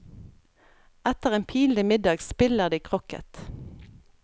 Etter en pinlig middag spiller de crocket.